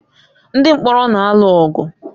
Ndị mkpọrọ na-alụ ọgụ.